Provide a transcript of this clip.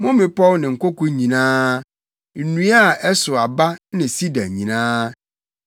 mo mmepɔw ne nkoko nyinaa, nnua a ɛsow aba ne sida nyinaa,